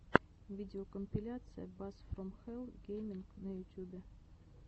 видеокомпиляция бас фром хэлл геймин на ютьюбе